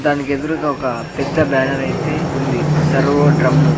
దానికెదురుగా ఒక పెద్ద బ్యానరైతే ఉంది సర్వో డ్రమ్ము --